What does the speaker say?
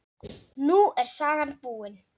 Nú er sagan búin.